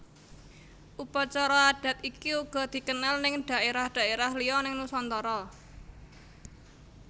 Upacara adat iki uga dikenal neng dhaerah dhaerah liya neng Nusantara